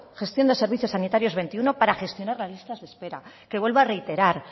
gestión de servicios sanitarios veintiuno para gestionar las listas de espera que vuelvo a reiterar